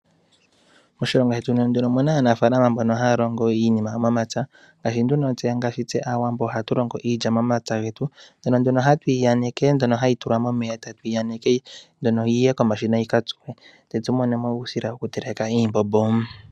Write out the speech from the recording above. Moshilongo shetu omuna aanafaalama mbono mba haya longo iinima momapya ngaashi nduno tse aawambo ohatu longo iilya momapya getu, mono nduno hatuyi tula momeya etatuyi aneke yiye komashina yika tsuwe tse tu monemo uusila woku teleka iimbombo.